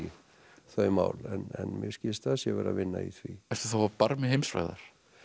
þau mál en mér skilst að það sé verið að vinna í því ertu þá á barmi heimsfrægðar